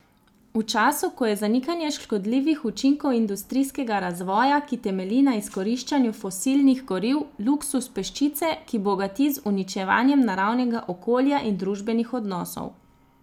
V času, ko je zanikanje škodljivih učinkov industrijskega razvoja, ki temelji na izkoriščanju fosilnih goriv, luksuz peščice, ki bogati z uničevanjem naravnega okolja in družbenih odnosov.